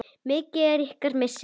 Mikill er ykkar missir.